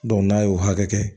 n'a y'o hakɛ kɛ